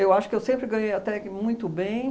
acho que eu sempre ganhei até que muito bem.